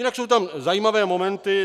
Jinak jsou tam zajímavé momenty.